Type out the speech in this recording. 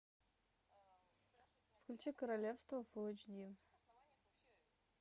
включи королевство фул эйч ди